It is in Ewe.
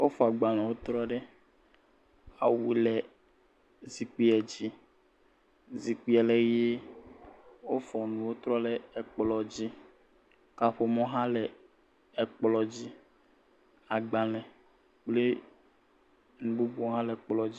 Wofɔ agbalẽwo trɔ ɖe, awu le zikpui dzi. Zikpui le ʋe, wofɔ enuwo trɔ le ekplɔ dzi, kaƒomɔ hã le ekplɔ dzi, agbalẽ kpli nu bubuwo hã le ekplɔ dzi.